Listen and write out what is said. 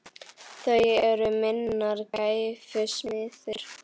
Þau eru minnar gæfu smiðir.